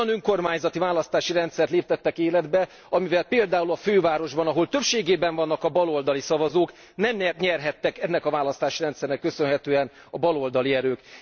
Olyan önkormányzati választási rendszert léptettek életbe, amellyel például a fővárosban, ahol többségében vannak a baloldali szavazók nem nyerhettek ennek a választási rendszernek köszönhetően a baloldali erők.